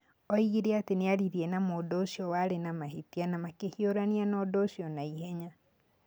Oigire atĩ nĩ aaririe na mũndũ ũcio warĩ na mahĩtia na makĩhiũrania na ũndũ ũcio na ihenya.